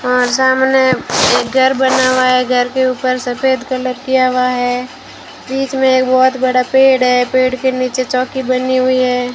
और सामने एक घर बना हुआ है घर के ऊपर सफेद कलर किया हुआ है बीच में एक बहोत बड़ा पेड़ है पेड़ के नीचे चौकी बनी हुई है।